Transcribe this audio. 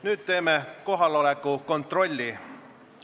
Nüüd palun teeme kohaloleku kontrolli.